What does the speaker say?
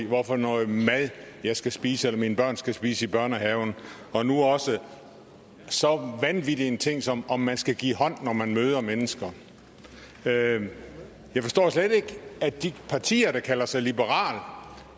hvad for noget mad jeg skal spise eller mine børn skal spise i børnehaven og nu også så vanvittig en ting som om man skal give hånd når man møder mennesker jeg forstår slet ikke at de partier der kalder sig liberale